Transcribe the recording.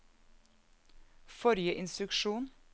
forrige instruksjon